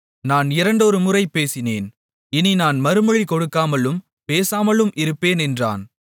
நான் இரண்டொருமுறை பேசினேன் இனி நான் மறுமொழி கொடுக்காமலும் பேசாமலும் இருப்பேன் என்றான்